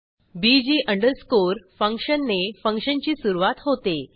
busy underscore function ने function ची सुरूवात होते